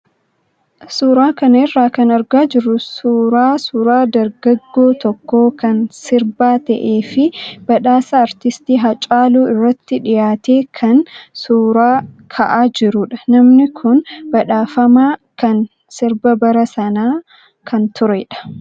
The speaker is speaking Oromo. Suuraa kana irraa kan argaa jirru suuraa suuraa dargaggoo tokkoo kan sirbaa ta'ee fi badhaasa artistii Hacaaluu irratti dhiyaatee kan suuraa ka'aa jirudha. Namni kun badhaafamaa kan sirba bara sanaa kan turedha.